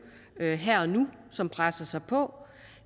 her her og nu som presser sig på